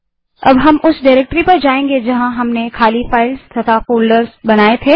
अब हम उस डाइरेक्टरी में जायेंगे जहाँ हमने खाली फाइलें और फोल्डर बनाये थे